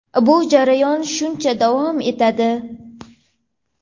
bu jarayon shuncha davom etadi.